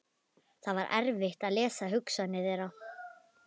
Það var erfitt að lesa hugsanir þeirra.